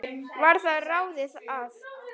Varð að ráði að